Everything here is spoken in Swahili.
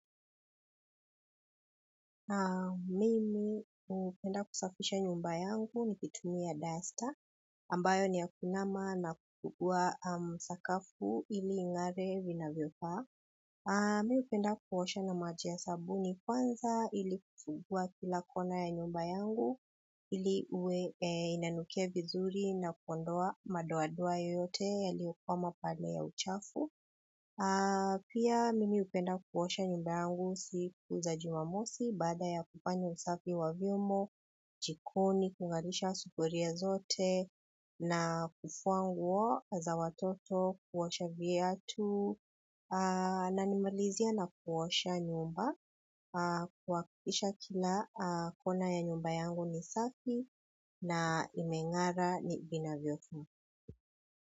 Mimi hupenda kusafisha nyumba yangu nikitumia duster ambayo ni ya kuinama na kukua sakafu ili ingare vinavyofaa. Mimi hupenda kuosha na maji ya sabuni kwanza ili kusugua kila kona ya nyumba yangu ili inanukia vizuri na kuondoa madoadoa yoyote yaliyokwama pale ya uchafu. Pia mimi hupenda kuosha nyumba yangu siku za jimamosi baada ya kufanya usafi wa vyombo, jikoni, kungarisha sufuria zote na kufua nguo za watoto kuosha viatu na nimalizie na kuosha nyumba kuhakikisha kila kona ya nyumba yangu ni safi na imengara vinavyofaa.